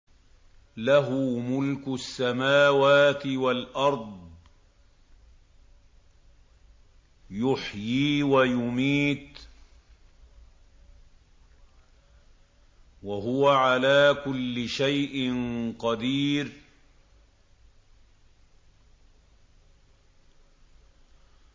لَهُ مُلْكُ السَّمَاوَاتِ وَالْأَرْضِ ۖ يُحْيِي وَيُمِيتُ ۖ وَهُوَ عَلَىٰ كُلِّ شَيْءٍ قَدِيرٌ